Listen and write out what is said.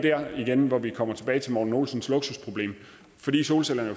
igen der hvor vi kommer tilbage til morten olsens luksusproblem fordi solcellerne